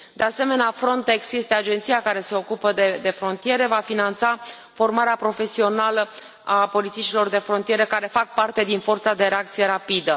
de asemenea, Frontex este agenția care se ocupă de frontiere va finanța formarea profesională a polițiștilor de frontieră care fac parte din forța de reacție rapidă.